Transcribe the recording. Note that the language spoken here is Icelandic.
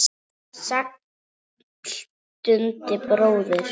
Sæll Dundi bróðir!